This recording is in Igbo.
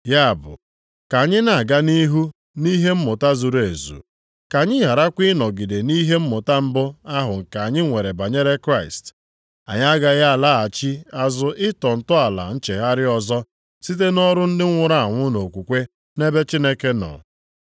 Ya bụ ka anyị na-aga nʼihu nʼihe mmụta zuru ezu, ka anyị gharakwa ịnọgide nʼihe mmụta mbụ ahụ nke anyị nwere banyere Kraịst. Anyị agaghị alaghachi azụ ịtọ ntọala nchegharị ọzọ site nʼọrụ ndị nwụrụ anwụ nʼokwukwe nʼebe Chineke nọ,